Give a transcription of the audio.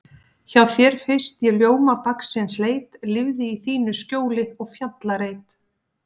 Hjá þér fyrst ég ljóma dagsins leit, lifði í þínu skjóli og fjallareit.